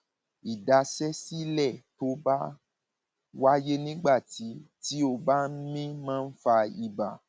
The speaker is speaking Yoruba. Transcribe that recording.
ìdaṣẹsílẹ tó bá wáyé nígbà tí tí o bá ń mí máa ń fa ibà